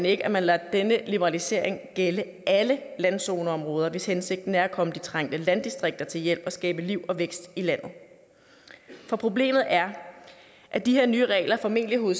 ikke at man lader denne liberalisering gælde alle landzoneområder hvis hensigten er at komme de trængte landdistrikter til hjælp og skabe liv og vækst i landet for problemet er at de her nye regler formentlig vil